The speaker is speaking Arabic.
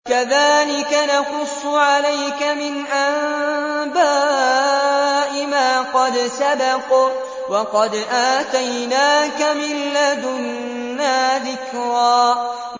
كَذَٰلِكَ نَقُصُّ عَلَيْكَ مِنْ أَنبَاءِ مَا قَدْ سَبَقَ ۚ وَقَدْ آتَيْنَاكَ مِن لَّدُنَّا ذِكْرًا